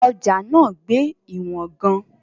Ọjà náà gbé ìwọ̀n gan-an.